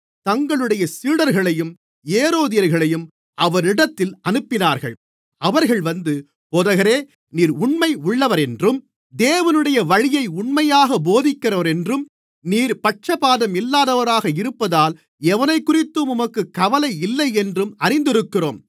தங்களுடைய சீடர்களையும் ஏரோதியர்களையும் அவரிடத்தில் அனுப்பினார்கள் அவர்கள் வந்து போதகரே நீர் உண்மையுள்ளவரென்றும் தேவனுடைய வழியை உண்மையாக போதிக்கிறவரென்றும் நீர் பட்சபாதமில்லாதவராக இருப்பதால் எவனைக்குறித்தும் உமக்குக் கவலை இல்லையென்றும் அறிந்திருக்கிறோம்